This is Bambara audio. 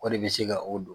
O de bɛ se ka o don